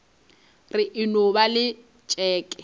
re e no ba letšeke